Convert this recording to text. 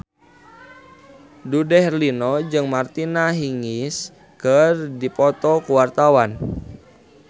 Dude Herlino jeung Martina Hingis keur dipoto ku wartawan